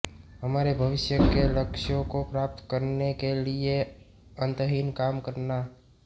हमारे भविष्य के लक्ष्यों को प्राप्त करने के लिए अंतहीन काम करना